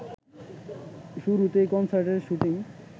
শুরুতেই কনসার্টের শুটিং